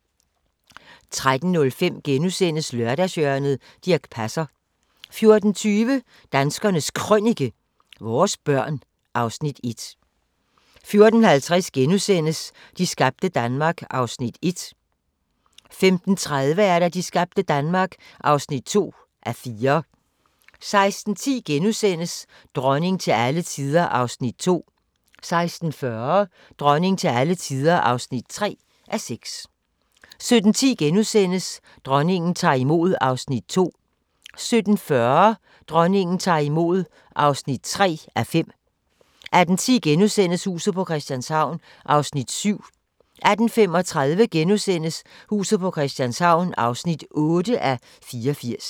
13:05: Lørdagshjørnet - Dirch Passer * 14:20: Danskernes Krønike - vores børn (Afs. 1) 14:50: De skabte Danmark (1:4)* 15:30: De skabte Danmark (2:4) 16:10: Dronning til alle tider (2:6)* 16:40: Dronning til alle tider (3:6) 17:10: Dronningen tager imod (2:5)* 17:40: Dronningen tager imod (3:5) 18:10: Huset på Christianshavn (7:84)* 18:35: Huset på Christianshavn (8:84)*